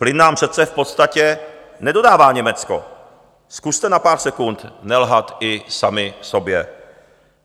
Plyn nám přece v podstatě nedodává Německo, zkuste na pár sekund nelhat i sami sobě.